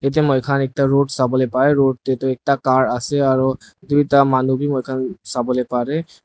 yatae moikhan ekta road sawolae parae road tae toh ekta car ase aro duita manu mohan sawolae parae.